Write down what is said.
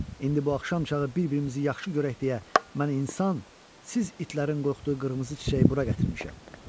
İndi bu axşam çağı bir-birimizi yaxşı görək deyə mən insan, siz itlərin qorxduğu qırmızı çiçəyi bura gətirmişəm.